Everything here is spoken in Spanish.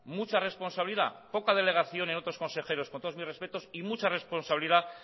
mucha responsabilidad poca delegación en otros consejeros on todos mis respetos y mucha responsabilidad